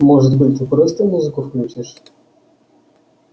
может быть ты просто музыку включишь